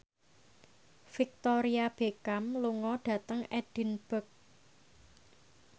Victoria Beckham lunga dhateng Edinburgh